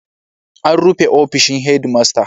An rufe ofishin Headmaster.